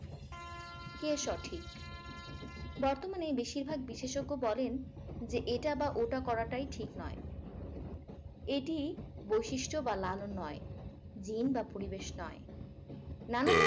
কে সঠিক বর্তমানে বেশিরভাগ বিশেষজ্ঞ বলেন যে এটা বা ওটা করাটাই ঠিক নয় এটি বৈশিষ্ট বা লালন নয় gin বা পরিবেশ নয় নানান